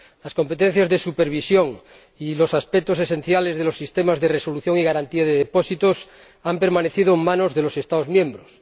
Las competencias de supervisión y los aspectos esenciales de los sistemas de resolución y garantía de depósitos han permanecido en manos de los Estados miembros.